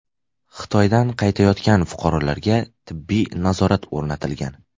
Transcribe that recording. Xitoydan qaytayotgan fuqarolarga tibbiy nazorat o‘rnatilgan.